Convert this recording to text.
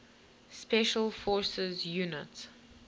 special forces units